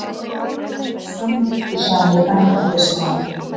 Hann var samviskusamur embættismaður.